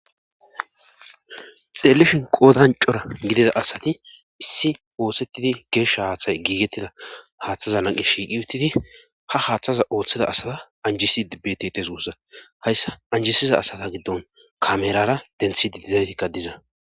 xeellishin qoodancora gidida asati issi oosettidi geesha haaththay giigettida haaththaza naqi shiiqi uttidi ha haaththaza ooththeda asaza anjisi ibbetetes wusza hayssa anjisiza asata giddon kamerara denthidi dizaysakka diza